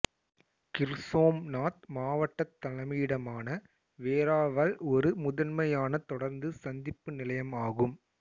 கிர்சோம்நாத் மாவட்டத் தலைமையிடமான வேராவல் ஒரு முதன்மையான தொடருந்து சந்திப்பு நிலையம் ஆகும்